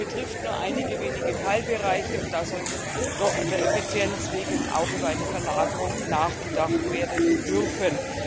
Das betrifft nur einige wenige Teilbereiche und da sollte doch der Effizienz wegen auch über eine Verlagerung nachgedacht werden dürfen.